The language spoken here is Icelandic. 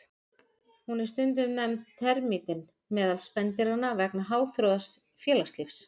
Hún er stundum nefnd termítinn meðal spendýranna vegna háþróaðs félagslífs.